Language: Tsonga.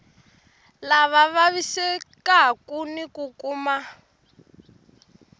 lava vavisekaku ni ku kuma